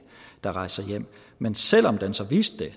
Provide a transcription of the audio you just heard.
der rejser hjem men selv om den så viste det